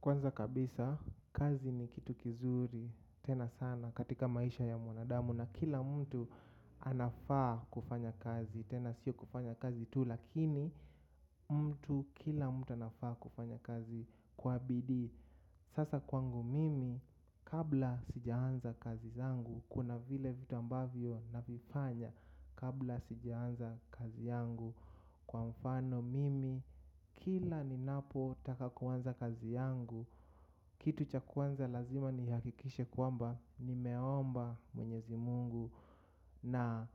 Kwanza kabisa kazi ni kitu kizuri tena sana katika maisha ya mwanadamu na kila mtu anafaa kufanya kazi tena sio kufanya kazi tu lakini mtu kila mtu anafaa kufanya kazi kwa bidiii. Sasa kwangu mimi kabla sijaanza kazi zangu kuna vile vitu ambavyo navifanya kabla sijaanza kazi yangu kwa mfano mimi kila ninapotaka kuanza kazi yangu kitu cha kwanza lazima nihakikishe kwamba nimeomba mwenyezi mungu na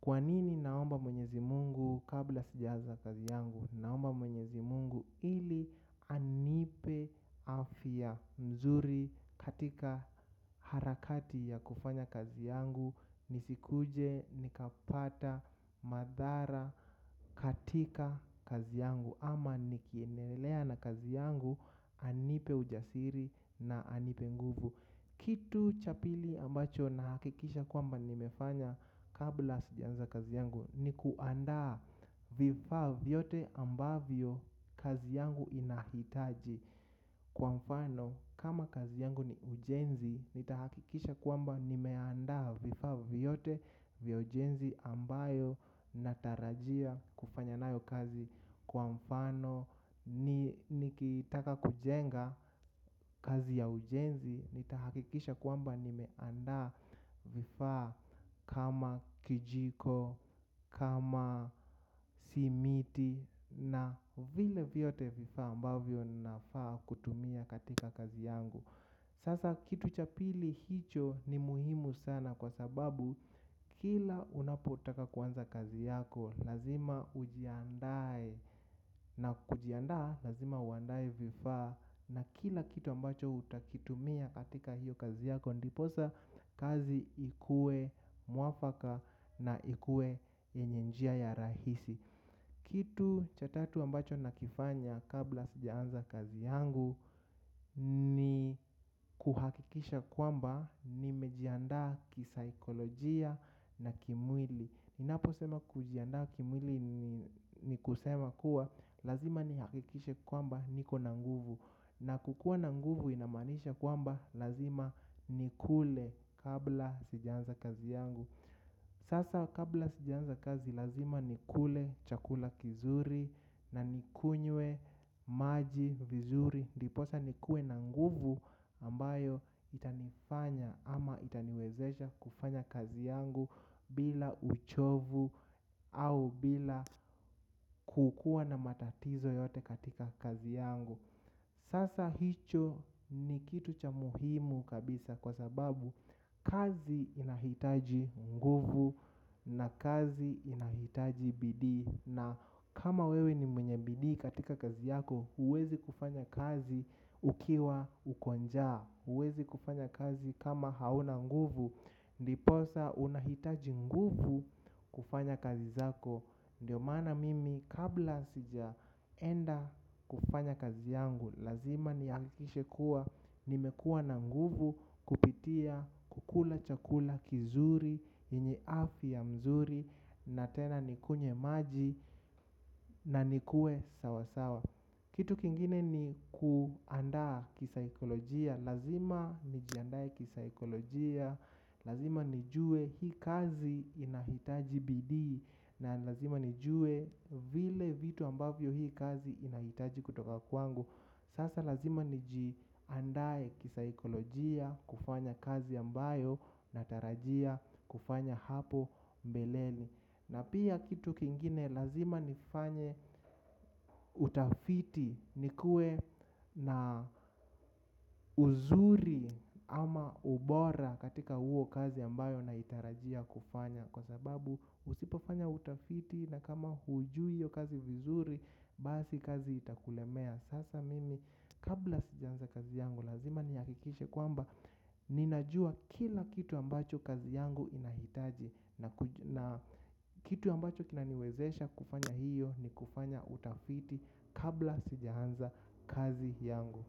kwa nini naomba mwenyezi Mungu kabla sijaanza kazi yangu ili anipe afya nzuri katika harakati ya kufanya kazi yangu nisikuje nikapata madhara katika kazi yangu ama nikiendelea na kazi yangu anipe ujasiri na anipe nguvu. Kitu cha pili ambacho nahakikisha kwamba nimefanya kabla sijaanza kazi yangu ni kuandaa vifa vyote ambavyo kazi yangu inahitaji kwa mfano kama kazi yangu ni ujenzi nitahakikisha kwamba nimeandaa vifaa vyote vya ujenzi ambayo natarajia kufanya nayo kazi kwa mfano nikitaka kujenga kazi ya ujenzi nitahakikisha kwamba nimeandaa vifaa kama kijiko, kama simiti na vile vyote vifaa ambavyo nafaa kutumia katika kazi yangu. Sasa kitu cha pili hicho ni muhimu sana kwa sababu kila unapotaka kuanza kazi yako lazima ujiandae na kujiandaa lazima uandae vifaa na kila kitu ambacho utakitumia katika hiyo kazi yako ndiposa kazi ikue mwafaka na ikue yenye njia ya rahisi. Kitu cha tatu ambacho nakifanya kabla sijaanza kazi yangu ni kuhakikisha kwamba nimejiandaa kisaikolojia na kimwili. Ninaposema kujiandaa kimwili ni kusema kuwa lazima nihakikishe kwamba niko na nguvu. Na kukuwa na nguvu inamaanisha kwamba lazima nikule kabla sijaanza kazi yangu. Sasa kabla sijaanza kazi lazima nikule chakula kizuri na nikunywe maji vizuri. Ndiposa nikuwe na nguvu ambayo itanifanya ama itaniwezesha kufanya kazi yangu bila uchovu au bila kukuwa na matatizo yote katika kazi yangu. Sasa hicho ni kitu cha muhimu kabisa kwa sababu kazi inahitaji nguvu na kazi inahitaji bidii. Na kama wewe ni mwenye bidii katika kazi yako, huwezi kufanya kazi ukiwa uko njaa huwezi kufanya kazi kama hauna nguvu. Ndiposa unahitaji nguvu kufanya kazi zako. Ndiyo maana mimi kabla sijaenda kufanya kazi yangu lazima nihakikishe kuwa, nimekuwa na nguvu kupitia, kukula, chakula, kizuri, yenye afya mzuri na tena nikunywe maji na nikuwe sawasawa. Kitu kingine ni kuandaa kisaikolojia. Lazima nijiandae kisaikolojia. Lazima nijuwe hii kazi inahitaji bidii. Na lazima nijue vile vitu ambavyo hii kazi inahitaji kutoka kwangu. Sasa lazima nijiandae kisaikolojia. Kufanya kazi ambayo natarajia kufanya hapo mbeleni na pia kitu kingine lazima nifanye utafiti nikuwe na uzuri ama ubora katika huo kazi ambayo naitarajia kufanya. Kwa sababu usipofanya utafiti na kama hujui hiyo kazi vizuri basi kazi itakulemea. Sasa mimi kabla sijaanza kazi yangu lazima nihakikishe kwamba ninajua kila kitu ambacho kazi yangu inahitaji. Na kitu ambacho kinaniwezesha kufanya hiyo ni kufanya utafiti kabla sijaanza kazi yangu.